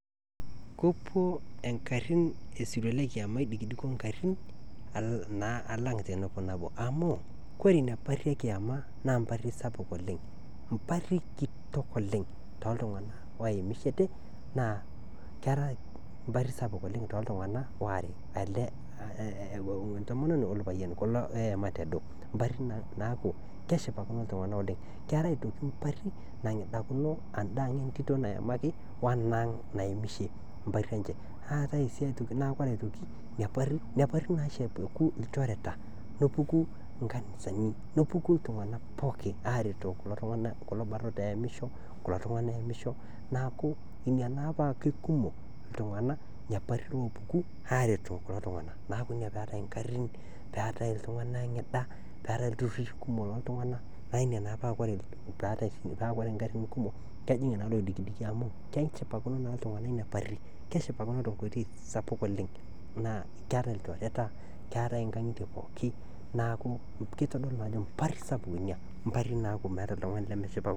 Kepuo engarrin le esirua lekiema eidikidiko ingarrin naa alang tenepo amu Kesidai oleng enchorota nachor ngotenye nkerai amu kore naa nkerai keyeu, kore sesen le nkerai kenana naa kekumok nyamaliritin naatum. Kore taa iltikana otiuaa ilmaasae otiuwaa ilo tokitin oojing looshori ,oojing nkejek nejing nkaik, nejing' sunta, naaku kore ngotonye nenare pootum atoshora nkerai enye ,atoshora nkaik, atoshora nkejek, neshor nkoriong ,neshor ndapi oonkejek, weji pooki, neel akinyi, kore peel newen achor, achor, achor sesen pooki, naa kesupat naa nkerai osesen, meitoki atum nenai moyaritin, meitoki atum lelo kutiti iltikana, meitoki atum lelo kutiti ooshori, naa inakata naa esupatu nkerai osesen, naaku kesupat oleng teneshor ngotenye nkerai awen ale ashorchor ewen era kinyi, naaku kore abaki echor ngotenye naa kejingaro ninye o kerai enye . Kore ina nachor nkera enye naa kesham nkerai amu kore sesen le nkerai keyeu ninye neitaasi neitomoki nchorota ake iyie amu keewen naa enana, naa inyakata egolu loik nesupatu.